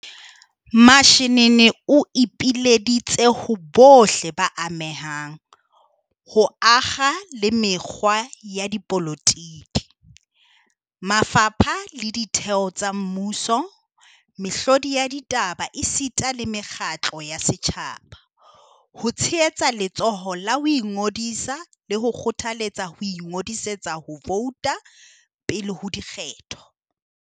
Mashinini o ipileditse ho bohle ba amehang, ho akga le mekga ya dipolotiki, mafapha le ditheo tsa mmuso, mehlodi ya ditaba esita le mekgatlo ya setjhaba, ho tshehetsa letsholo la ho ingodisa le ho kgothaletsa ho ingodisetsa ho vouta pele ho dikgetho.